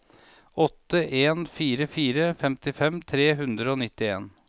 åtte en fire fire femtifem tre hundre og nittien